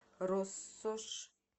россошь